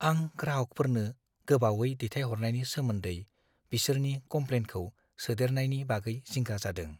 आं ग्राहकफोरनो गोबावै दैथायहरनायनि सोमोन्दै बिसोरनि कमप्लेनखौ सोदेरनायनि बागै जिंगा जादों।